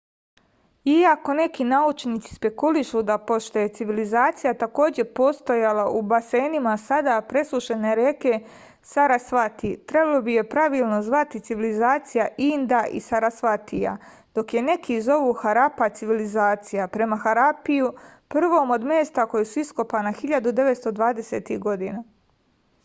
iako neki naučnici spekulišu da pošto je civilizacija takođe postojala u basenima sada presušene reke sarasvati trebalo bi je pravilno zvati civilizacija inda i sarasvatija dok je neki zovu harapa civilizacija prema harapiju prvom od mesta koja su iskopana 1920-ih godina